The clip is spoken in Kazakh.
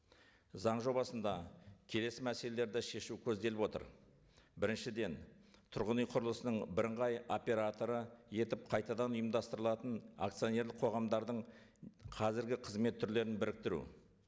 заң жобасында келесі мәселелерді шешу көзделіп отыр біріншіден тұрғын үй құрылысының бірыңғай операторы етіп қайтадан ұйымдастырылатын акционерлік қоғамдардың қазіргі қызмет түрлерін біріктіру